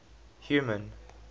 human